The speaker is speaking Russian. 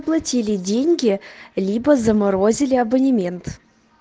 платили деньги либо заморозили абонемент